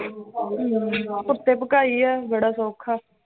ਅਮ ਕੁੱਤੇ ਭਖਾਈ ਆ ਬੜਾ ਸੌਖਾ l